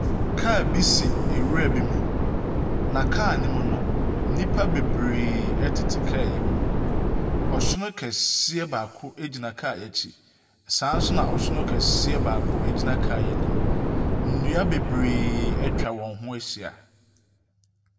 Car bi si nwura bi mu na car yi mu no, nipa bebree ɛtete kar yi mu. Ɔsono kɛseɛ baako egyina car yi akyi saa nso na ɔsono kɛseɛ baako gyina car yi anim. Nnua bebree atwa wɔn ho ahyia.